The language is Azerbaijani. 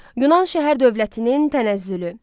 Yunan şəhər dövlətinin tənəzzülü.